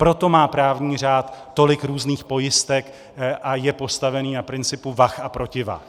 Proto má právní řád tolik různých pojistek a je postavený na principu vah a protivah.